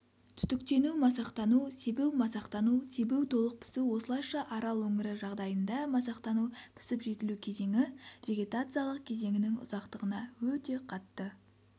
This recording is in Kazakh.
түтіктену-масақтану себу-масақтану себу-толық пісу осылайша арал өңірі жағдайында масақтану-пісіп-жетілу кезеңі вегетациялық кезеңінің ұзақтығына өте қатты